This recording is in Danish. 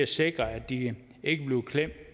sikre at de ikke bliver klemt